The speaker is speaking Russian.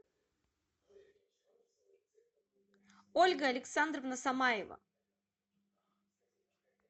ольга александровна самаева